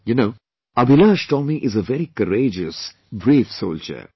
You know, AbhilashTomy is a very courageous, brave soldier